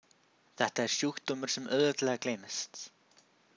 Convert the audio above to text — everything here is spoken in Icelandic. Þetta er sjúkdómur sem auðveldlega gleymist.